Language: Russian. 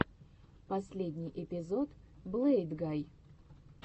последний эпизод блэйдгай